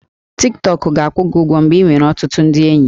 Tik Tọk ga-akwụ gị ụgwọ mgbe ị nwere ọtụtụ ndị enyi